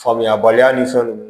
Faamuyabaliya ni fɛnw